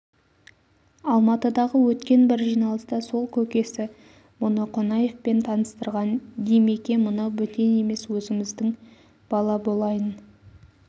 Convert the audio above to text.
алматыдағы өткен бір жиналыста сол көкесі мұны қонаевпен таныстырған димеке мынау бөтен емес өзіміздің бала болайын